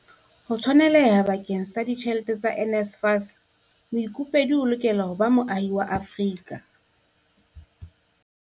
Ho tshwaneleha bakeng sa ditjhelete tsa NSFAS, moikopedi o lokela ho ba moahi wa Afrika